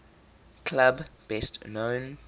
club best known